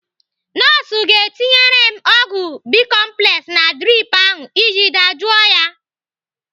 Nọọsụ ga-etinyere m ọgwụ bicomplex na drip ahụ iji dajụọ ya.